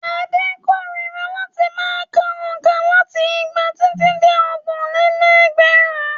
Ade kórira láti ma ka òǹkà láti igba títí dé ọgbọ̀n-lé-lẹ́gbẹ̀rún?